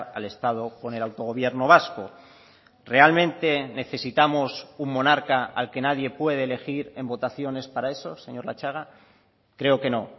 al estado con el autogobierno vasco realmente necesitamos un monarca al que nadie puede elegir en votaciones para eso señor latxaga creo que no